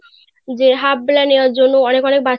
যে half বেলা নেবার জন্য অনেক অনেক বাচ্চারা